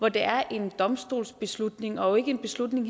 at det er en domstolsbeslutning og ikke en beslutning